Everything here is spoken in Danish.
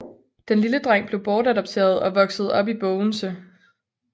Den lille dreng blev bortadopteret og voksede op i Bogense